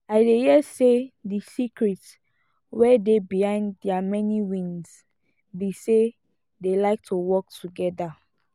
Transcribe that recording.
i dey hear say the secret wey dey behind their many wins be say dey like to work together